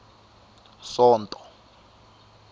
sonto